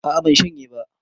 A'a ban shanye ba